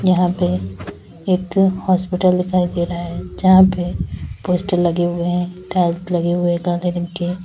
यहां पे एक हॉस्पिटल दिखाई दे रहा है जहां पे पोस्टर लगे हुए हैं टाइल्स लगे हुए हैं काले रंग के।